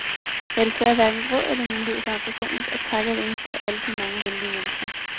Jeg har desværre hverken råd eller mulighed for personligt at takke hver eneste af alle de mange venlige mennesker.